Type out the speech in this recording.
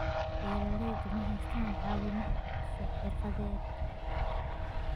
Beeraleydu ma haystaan ??caawimo xirfadeed.